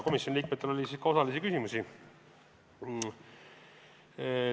Komisjoni liikmetel oli ka küsimusi.